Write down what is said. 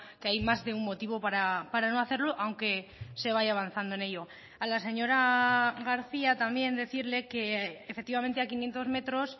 que hay más de un motivo para no hacerlo aunque se vaya avanzando en ello a la señora garcía también decirle que efectivamente a quinientos metros